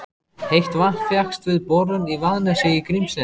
Heitt vatn fékkst við borun í Vaðnesi í Grímsnesi.